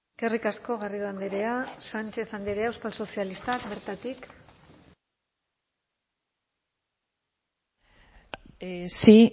eskerrik asko garrido andrea sánchez andrea euskal sozialistak bertatik sí